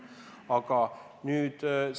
Väga huvitav perspektiiv.